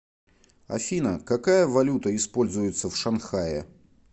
афина какая валюта используется в шанхае